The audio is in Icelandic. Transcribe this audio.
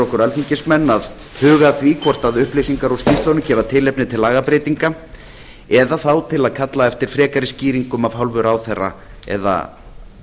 okkur alþingismenn til að huga að því hvort upplýsingar úr skýrslunum gefa tilefni til lagabreytinga eða þá til að kalla eftir frekari skýringum af hálfu ráðherra eða